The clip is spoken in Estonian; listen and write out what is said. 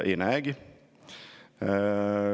Ei näegi.